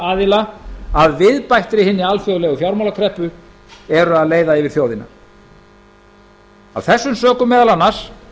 aðila að viðbættri hinni alþjóðlegu fjármálakreppu eru að leiða yfir þjóðina af þessum sökum meðal annars